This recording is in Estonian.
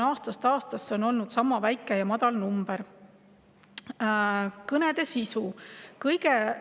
Aastast aastasse on see number olnud sama väike.